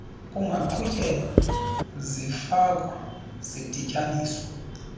kungaqhutyeka zifakwa zidityaniswa